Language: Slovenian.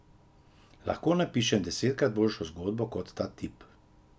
Lahko napišem desetkrat boljšo zgodbo kot ta tip.